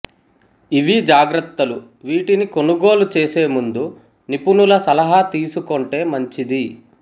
ఇవీ జాగ్రత్తలు వీటిని కొనుగోలు చేసేముందు నిపుణుల సలహా తీసుకొంటే మంచిది